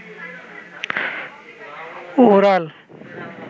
oral